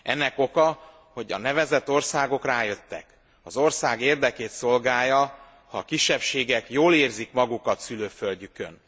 Ennek oka, hogy a nevezett országok rájöttek az ország érdekét szolgálja, ha a kisebbségek jól érzik magukat szülőföldjükön.